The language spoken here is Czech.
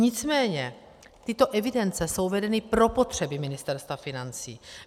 Nicméně tyto evidence jsou vedeny pro potřeby Ministerstva financí.